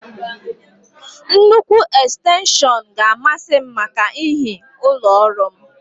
Nnukwu ekstenshọn ga a masị m màkà ihi ụlọ ọrụ m